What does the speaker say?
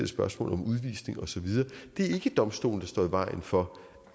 spørgsmål om udvisning og så videre det er ikke domstolen der står i vejen for